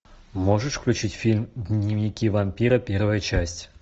можешь включить фильм дневники вампира первая часть